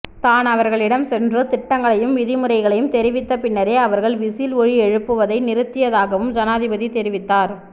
தான் அவர்களிடம் சென்று திட்டங்களையும் விதிமுறைகளையும் தெரிவித்த பின்னரே அவர்கள் விசில் ஒலி எழுப்புவதை நிறுத்தியதாகவும் ஜனாதிபதி தெரிவித்தார்